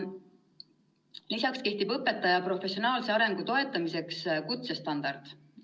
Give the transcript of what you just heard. Lisaks kehtib õpetaja professionaalse arengu toetamiseks kutsestandard.